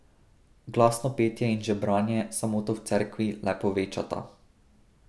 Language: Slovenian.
Glasno petje in žebranje samoto v cerkvi le povečata.